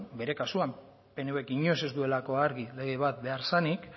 bere kasuan pnvk inoiz ez duelako argi lege bat behar zenik